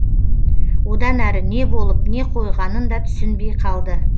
одан әрі не болып не қойғанын да түсінбей қалды